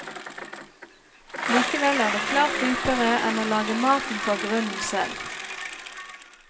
Likevel er det klart dyrere enn å lage maten fra grunnen selv.